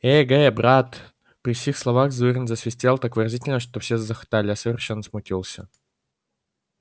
эге брат при сих словах зурин засвистел так выразительно что все захохотали а я совершенно смутился